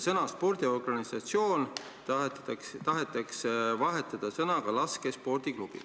" Sõna "spordiorganisatsioon" tahetakse asendada sõnaga "laskespordiklubi".